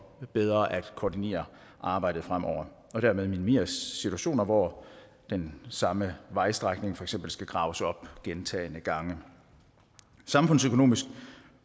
bedre at koordinere arbejdet fremover og dermed minimeres situationer hvor den samme vejstrækning for eksempel skal graves op gentagne gange samfundsøkonomisk